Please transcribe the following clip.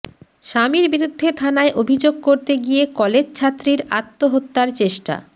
স্বামীর বিরুদ্ধে থানায় অভিযোগ করতে গিয়ে কলেজছাত্রীর আত্মহত্যার চেষ্টা